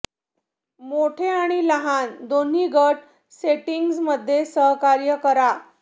मोठे आणि लहान दोन्ही गट सेटिंग्जमध्ये सहकार्य करा